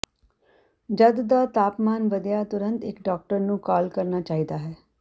ਜਦ ਦਾ ਤਾਪਮਾਨ ਵਧਿਆ ਤੁਰੰਤ ਇੱਕ ਡਾਕਟਰ ਨੂੰ ਕਾਲ ਕਰਨਾ ਚਾਹੀਦਾ ਹੈ